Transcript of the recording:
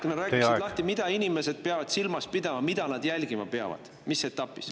Kui sa natukene räägiksid lahti, mida inimesed peavad silmas pidama, mida nad jälgima peavad mis etapis.